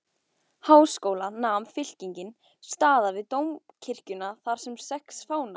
Háskóla nam fylkingin staðar við dómkirkjuna þarsem sex fánar